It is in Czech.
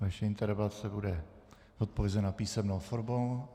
Vaše interpelace bude odpovězena písemnou formou.